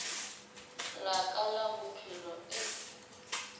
la ka la bophelo e